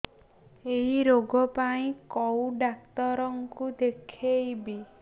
ଏଇ ରୋଗ ପାଇଁ କଉ ଡ଼ାକ୍ତର ଙ୍କୁ ଦେଖେଇବି